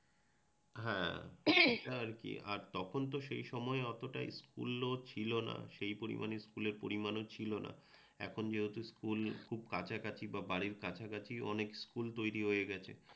হ্যাঁ গলাখাঁকারি আওয়াজ, আর তখন তো সেই সময় অতটা উন্নয়ন ছিল না। সেই পরিমাণে স্কুলের পরিমাণও ছিলনা। এখন যেহেতু স্কুল কাছাকাছি বা বাড়ির কাছাকাছি অনেক স্কুল তৈরি হয়ে গেছে।